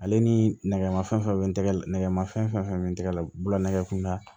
Ale ni nɛgɛmafɛn bɛ nɛgɛmafɛn be n tɛgɛ la bolola nɛgɛkunda